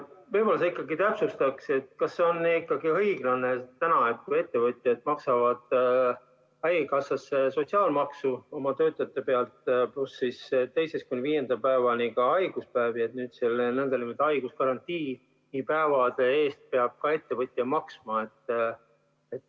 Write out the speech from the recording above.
Võib-olla sa ikkagi täpsustaks, kas see on ikka õiglane, et kui ettevõtjad maksavad haigekassasse sotsiaalmaksu oma töötajate pealt, pluss teisest kuni viienda päevani ka haiguspäevade eest, siis nüüd peab selle nn haiguskarantiini päevade eest samuti ettevõtja maksma.